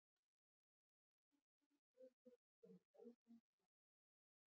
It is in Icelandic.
Af illum brunni kemur óhreint vatn.